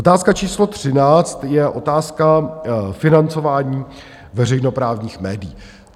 Otázka číslo 13 je otázka financování veřejnoprávních médií.